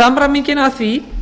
samræmingin að því